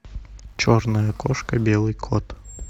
черная кошка белый кот